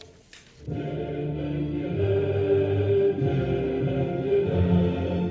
менің елім менің елім